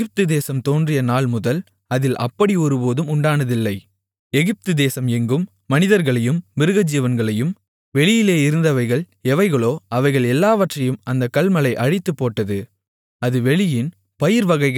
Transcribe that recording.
எகிப்து தேசம் எங்கும் மனிதர்களையும் மிருகஜீவன்களையும் வெளியிலே இருந்தவைகள் எவைகளோ அவைகள் எல்லாவற்றையும் அந்தக் கல்மழை அழித்துப்போட்டது அது வெளியின் பயிர்வகைகளையெல்லாம் அழித்து வெளியின் மரங்களையெல்லாம் முறித்துப்போட்டது